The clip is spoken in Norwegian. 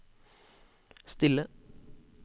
stille